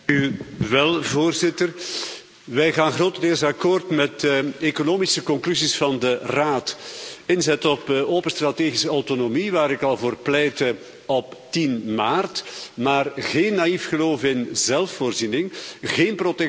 Voorzitter, wij gaan grotendeels akkoord met de economische conclusies van de Raad inzetten op open strategische autonomie, waar ik al voor pleitte op 10 maart, maar geen naïef geloof in zelfvoorziening, geen protectionisme.